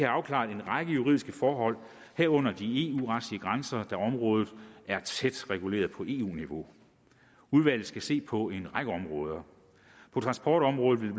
afklaret en række juridiske forhold herunder de eu retlige grænser da området er tæt reguleret på eu niveau udvalget skal se på en række områder på transportområdet vil